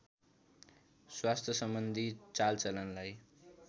स्वास्थ्य सम्बन्धि चालचलनलाई